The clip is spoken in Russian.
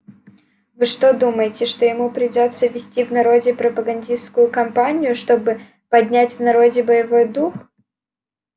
вы что думаете что ему придётся вести в народе пропагандистскую кампанию чтобы поднять в народе боевой дух